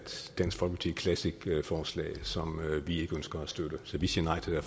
dansk folkeparti classic forslag som vi ikke ønsker at støtte så vi siger nej til